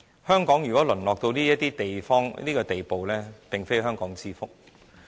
香港如果淪落到這個地步，並非香港之福。